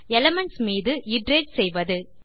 elements மீது iterate செய்வது